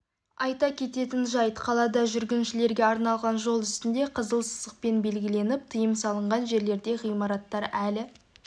айта кететін жайт қалада жүргіншілерге арналған жол үстінде қызыл сызықпен белгіленіп тыйым салынған жерлерде ғимараттар әлі